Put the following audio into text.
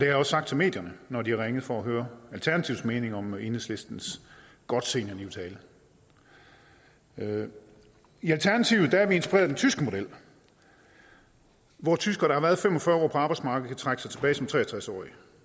jeg også sagt til medierne når de har ringet for at høre alternativets mening om enhedslistens godt seniorliv til alle i alternativet er vi inspireret af den tyske model hvor tyskere der har været fem og fyrre år på arbejdsmarkedet kan trække sig tilbage som tre og tres årige